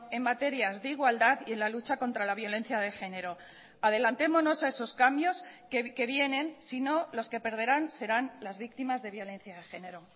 en materias de igualdad y en la lucha contra la violencia de género adelantémonos a esos cambios que vienen sino los que perderán serán las víctimas de violencia de género